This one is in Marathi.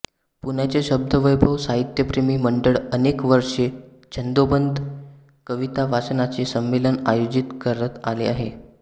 पुण्याचे शब्दवैभव साहित्यप्रेमी मंडळ अनेक वर्षे छंदोबद्ध कवितावाचनाचे संमेलन आयोजित करत आले आहे